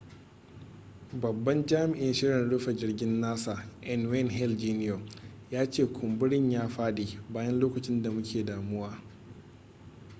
babban jami'in shirin rufe jirgin nasa n wayne hale jr ya ce kumburin ya fadi bayan lokacin da muke damuwa